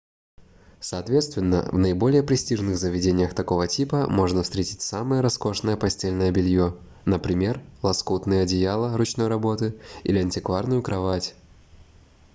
соответственно в наиболее престижных заведениях такого типа можно встретить самое роскошное постельное белье например лоскутные одеяла ручной работы или антикварную кровать